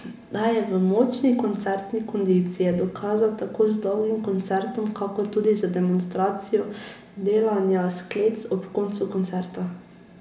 Da je v močni koncertni kondiciji je dokazal tako z dolgim koncertom kakor tudi z demonstracijo delanja sklec ob koncu koncerta.